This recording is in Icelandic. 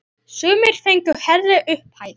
Sumir fengu hærri upphæð.